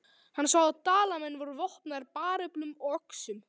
Hann sá að Dalamenn voru vopnaðir bareflum og öxum.